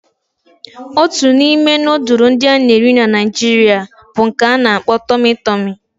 Otu n'ime nudulu ndi ana eri na naijiria bu nke a n'akpo "Tummy tummy"